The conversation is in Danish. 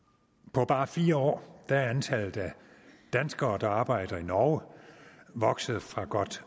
på bare fire år er antallet af danskere der arbejder i norge vokset fra godt